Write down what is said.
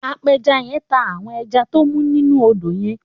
Àpèjá yèn n tá áwòn èjá tó mú ninú ódó yèn